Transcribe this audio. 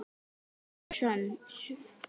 Sekt mín er söm.